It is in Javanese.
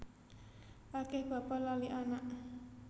Akeh bapa lali anak